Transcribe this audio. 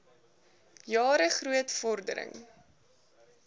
jare groot vordering